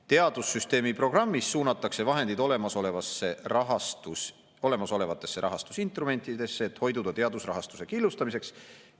Teadussüsteemi programmis suunatakse vahendid olemasolevatesse rahastusinstrumentidesse, et hoiduda teadusrahastuse killustamisest.